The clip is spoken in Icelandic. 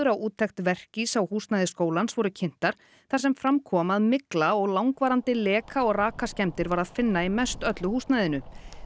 á úttekt Verkís á húsnæði skólans voru kynntar þar sem fram kom að mygla og langvarandi leka og var að finna í mest öllu húsnæðinu